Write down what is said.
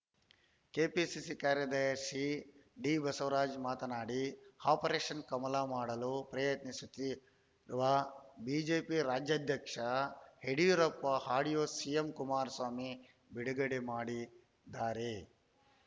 KPCC ಕಾರ್ಯದರ್ಶಿ ಡಿಬಸವರಾಜ ಮಾತನಾಡಿ operation ಕಮಲ ಮಾಡಲು ಪ್ರಯತ್ನಿಸುತ್ತಿರುವ ಬಿಜೆಪಿ ರಾಜ್ಯಾಧ್ಯಕ್ಷ ಯಡಿಯೂರಪ್ಪ ಆಡಿಯೋ ಸಿಎಂ ಕುಮಾರಸ್ವಾಮಿ ಬಿಡುಗಡೆ ಮಾಡಿದ್ದಾರೆ